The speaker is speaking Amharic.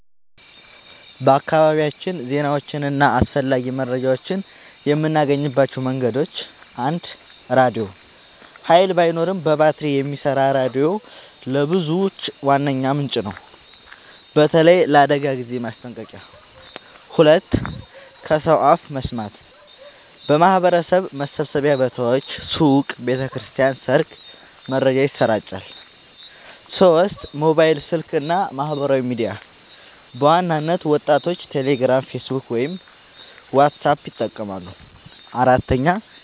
በአካባቢያችን ዜናዎችን እና አስፈላጊ መረጃዎችን የምናገኝባቸው መንገዶች፦ 1. ራድዮ – ኃይል ባይኖርም በባትሪ የሚሰራ ሬዲዮ ለብዙዎች ዋነኛ ምንጭ ነው፣ በተለይ ለአደጋ ጊዜ ማስጠንቀቂያ። 2. ከሰው አፍ መስማት – በማህበረሰብ መሰብሰቢያ ቦታዎች (ሱቅ፣ ቤተ ክርስቲያን፣ ሰርግ) መረጃ ይሰራጫል። 3. ሞባይል ስልክ እና ማህበራዊ ሚዲያ – በዋናነት ወጣቶች ቴሌግራም፣ ፌስቡክ ወይም ዋትስአፕ ይጠቀማሉ። 4.